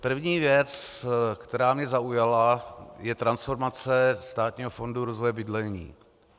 První věc, která mě zaujala, je transformace Státního fondu rozvoje bydlení.